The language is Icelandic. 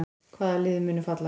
Hvaða lið munu falla?